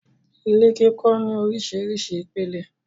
Ilé kíkọ́ ní orísirísi ìpele.